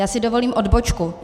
Já si dovolím odbočku.